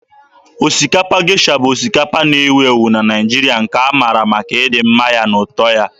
Osikapa Gesha bụ osikapa na-ewu ewu na Naịjirịa, nke a mara maka ịdị mma na ụtọ ya.